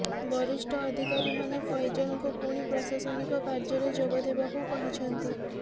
ବରିଷ୍ଠ ଅଧିକାରୀମାନେ ଫୈଜଲଙ୍କୁ ପୁଣି ପ୍ରଶାସନିକ କାର୍ଯ୍ୟରେ ଯୋଗଦେବାକୁ କହିଛନ୍ତି